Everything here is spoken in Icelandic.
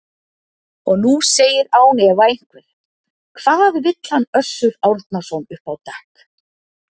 Og nú segir án efa einhver: Hvað vill hann Össur Árnason upp á dekk?